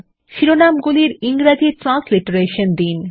শিরোনামগুলির ইংরেজি ট্রান্সলিটারেশন দিন